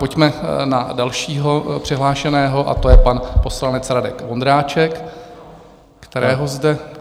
Pojďme na dalšího přihlášeného, a to je pan poslanec Radek Vondráček, kterého zde...